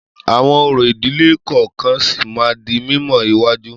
Àwọn orò ìdílé kọ̀ọ̀kan sì máa di mímọ̀ iwájú.